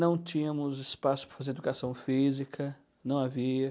Não tínhamos espaço para fazer educação física, não havia.